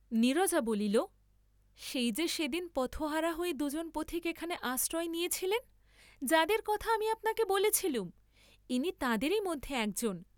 নীরজা বলিল সেই যে সেদিন পথহারা হয়ে দুজন পথিক এখানে আশ্রয় নিয়েছিলেন, যাঁদের কথা আমি আপনাকে বলেছিলুম, ইনি তাঁদেরি মধ্যে একজন।